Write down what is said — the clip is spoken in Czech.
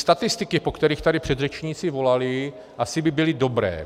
Statistiky, po kterých tady předřečníci volali, asi by byly dobré.